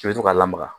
I bɛ to k'a lamaga